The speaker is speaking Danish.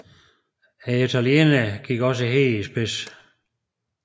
Italienerne gik også her i spidsen